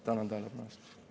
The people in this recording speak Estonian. Tänan tähelepanu eest!